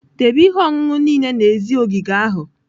Debe ihe ọṅụṅụ niile n'èzí ogige ahụ!